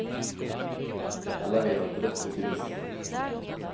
Alla vet att rött betyder stopp.